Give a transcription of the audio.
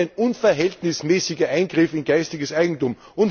Das ist ein unverhältnismäßiger Eingriff in geistiges Eigentum.